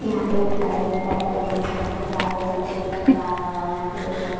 यहां पे एक फ्लाइट है फ्लाइट के ऊपर बच्चा खेल रहा है ऊपर से ये बच्चा आया हुआ है यहां पे दो--